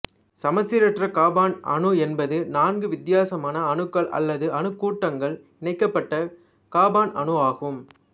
சமச்சீரற்ற காபன் அணு என்பது நான்கு வித்தியாசமான அணுக்கள் அல்லது அணுக்கூட்டங்கள் இணைக்கப்பட்ட காபன் அணுவாகும்